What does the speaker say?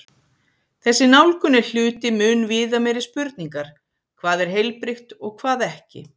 Þessi nálgun er hluti mun viðameiri spurningar: hvað er heilbrigt og hvað ekki?